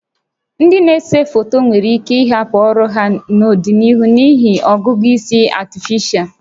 Ndị na-ese foto nwere ike ịhapụ ọrụ ha n'ọdịnihu n'ihi ọgụgụ isi Artificial (AI)